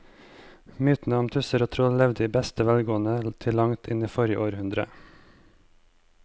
Mytene om tusser og troll levde i beste velgående til langt inn i forrige århundre.